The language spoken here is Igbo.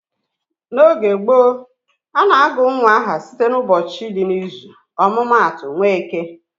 N'oge gboo, a na-agụ nwa aha site n'ụbọchị dị n'izu. Ọmụma atụ, Nweke